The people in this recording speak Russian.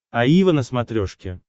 аива на смотрешке